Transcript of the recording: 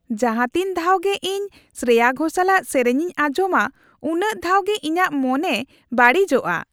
ᱡᱟᱦᱟᱸᱛᱤᱱ ᱫᱷᱟᱣ ᱜᱮ ᱤᱧ ᱥᱨᱮᱭᱟ ᱜᱷᱳᱥᱟᱞᱟᱜ ᱥᱮᱹᱨᱮᱹᱧ ᱤᱧ ᱟᱧᱡᱚᱢᱟ ᱩᱱᱟᱹᱜ ᱫᱷᱟᱣ ᱜᱮ ᱤᱧᱟᱹᱜ ᱢᱚᱱᱮ ᱵᱟᱹᱲᱤᱡᱚᱜᱼᱟ ᱾